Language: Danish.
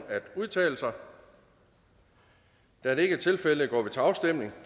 at udtale sig da det ikke er tilfældet går vi til afstemning